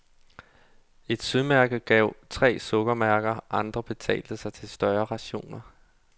Et smørmærke gav tre sukkermærker, andre betalte sig til større rationer.